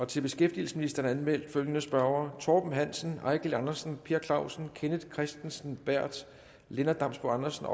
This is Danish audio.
til beskæftigelsesministeren er anmeldt følgende spørgere torben hansen eigil andersen per clausen kenneth kristensen berth lennart damsbo andersen